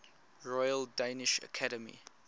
royal danish academy